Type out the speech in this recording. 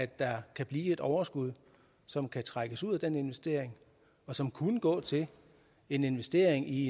der kan blive et overskud som kan trækkes ud af den investering og som kunne gå til en investering i